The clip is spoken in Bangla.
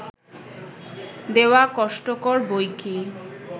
দেওয়া কষ্টকর বৈকি!